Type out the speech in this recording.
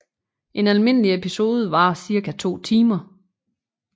En almindelig episode varer cirka 2 timer